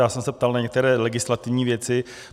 Já jsem se ptal na některé legislativní věci.